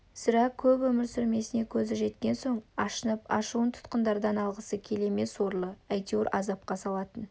сірә көп өмір сүрмесіне көзі жеткен соң ашынып ашуын тұтқындардан алғысы келе ме сорлы әйтеуір азапқа салатын